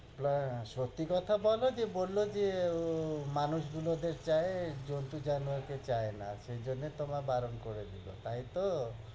সত্য়ি কথা বোলো যে, বলল যে এর উহ মানুষ গুলোদের চায়, জন্তু-জানোয়ার কে চায় না, সেই জন্য় তোমার বারণ করে দিলো, তাইতো?